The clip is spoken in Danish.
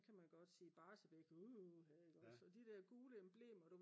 så kan man godt sige Barsebäck uha ik ogs og de der gule emblemer